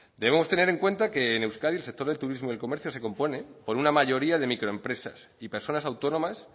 debemos tener en cuenta que en euskadi el sector del turismo y el comercio se compone por una mayoría de microempresas y personas autónomas